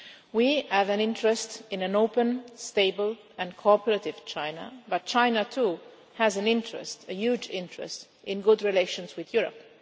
We have an interest in an open, stable and cooperative China, but China too has an interest a huge interest in good relations with Europe.